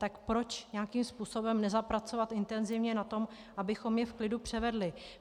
Tak proč nějakým způsobem nezapracovat intenzivně na tom, abychom je v klidu převedli?